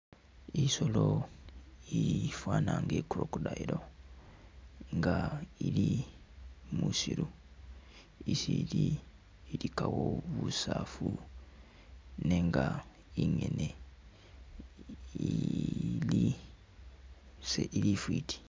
Isoolo ifwaana nga i'crocodile nga ili musiiru, isi ili ilikawo busaafu nenga ingene ili isili ifwiiti.